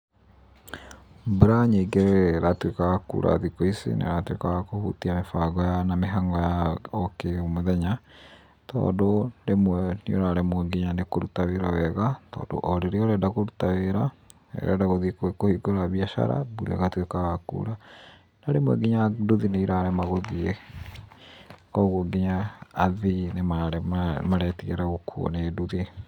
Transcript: Mbura nyingĩ ĩrĩa ĩratuĩka ya kuura thikũ ici nĩ ĩratuĩka ya kũhutia mĩbango ya, na mĩhang'o ya o kĩ mũthenya, tondũ rĩmwe nĩũraremwo nginya nĩ kũruta wĩra wega, tondũ o rĩrĩa ũrenda kũruta wĩra, rĩrĩa ũrenda gũthiĩ kũhingũra biacara, mbura ĩgatuĩka ya kuura, no rĩmwe nginya nduthi nĩ irarema gũthiĩ. Koguo nginya athii nĩ maretigĩra gũkuuo nĩ nduthi.